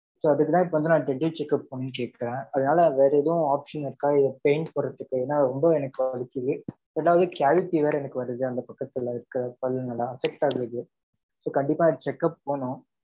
So, அதுக்குத்தான் இப்ப வந்து, நான் dental check up பண்ணும் கேட்டேன். அதனால, வேற எதுவும் option இருக்கா? இல்லை, pain போடுறதுக்கு? ஏன்னா, ரொம்ப எனக்கு வலிக்குது அதாவது, cavity வேற எனக்கு வருது, அந்த பக்கத்துல இருக்க பல்லுங்க எல்லாம் affect ஆகுது. So கண்டிப்பா check up போணும்.